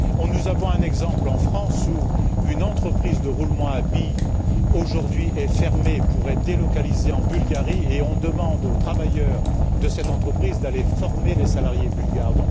Nous avons un exemple, en France, où une entreprise de roulements à billes est aujourd'hui fermée pour être délocalisée en Bulgarie, et on demande aux travailleurs de cette entreprise d'aller former les salariés bulgares.